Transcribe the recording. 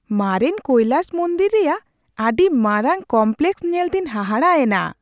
ᱢᱟᱨᱮᱱ ᱠᱳᱭᱞᱟᱥ ᱢᱚᱱᱫᱤᱨ ᱨᱮᱭᱟᱜ ᱟᱹᱰᱤ ᱢᱟᱨᱟᱝ ᱠᱚᱢᱯᱞᱮᱠᱥ ᱧᱮᱞᱛᱮᱧ ᱦᱟᱦᱟᱲᱟᱜ ᱮᱱᱟ ᱾